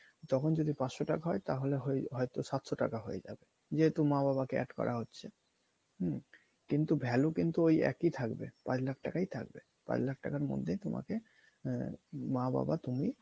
তখন যদি পাঁচশো টাকা হয় তাহলে হয়~ হয়তো সাতশো টাকা হয়ে যাবে। ইয়েতো মা বাবাকে add করা হচ্ছে হম কিন্তু value কিন্তু ওই এক ই থাকবে পাঁচ লাখ টাকাই থাকবে। পাঁচলাখ টাকার মধ্যেই তোমাকে আহ মা বাবা তুমি